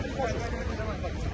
Qoy, qoy, gəl bura.